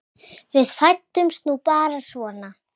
Við fæddumst nú bara svona.